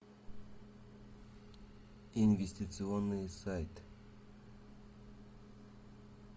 инвестиционные сайты